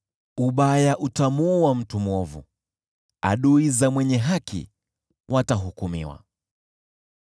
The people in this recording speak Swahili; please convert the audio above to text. Ubaya utamuua mtu mwovu, nao adui za mwenye haki watahukumiwa.